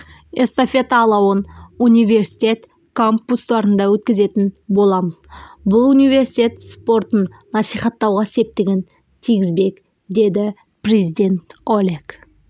эстафета алауын университет кампустарында өткізетін боламыз бұл университет спортын насихаттауға септігін тигізбек деді президенті олег